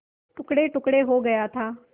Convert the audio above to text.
टुकड़ेटुकड़े हो गया था